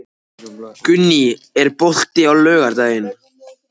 Gunný, er bolti á laugardaginn?